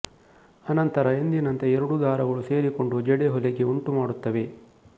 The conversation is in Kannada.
ಅನಂತರ ಎಂದಿನಂತೆ ಎರಡೂ ದಾರಗಳು ಸೇರಿಕೊಂಡು ಜಡಿ ಹೊಲಿಗೆ ಉಂಟುಮಾಡುತ್ತವೆ